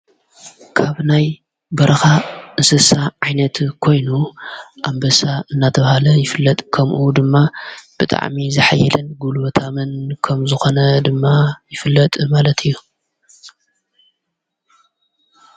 ካብናይ በረኻ ንስሳ ዓይነት ኮይኑ ኣበሳ እናተብሃለ ይፍለጥ ከምኡኡ ድማ ብጥዓሚ ዘኃይልን ጕሉ በታምን ከም ዝኾነ ድማ ይፍለጥ ማለት እዩ።